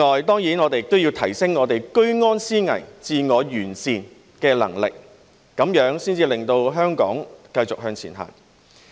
當然，我們也要提升居安思危、自我完善的能力，這樣才可以令香港繼續向前行。